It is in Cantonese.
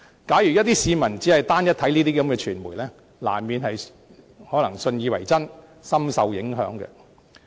假如一些市民只單一地閱覽這些傳媒的報道，難免信以為真，深受影響。